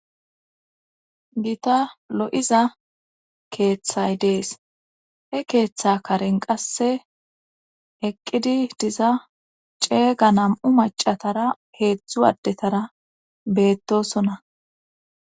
gita lo7iza keeththay dees he keeththa karen qasse eqqidi diza ceega nam7u macatara heedzdzu addetara beettosonna